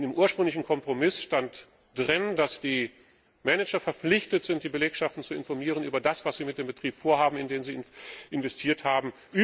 In dem ursprünglichen Kompromiss stand, dass die Manager verpflichtet sind, die Belegschaften über das zu informieren, was sie mit dem Betrieb vorhaben, in den sie investiert haben.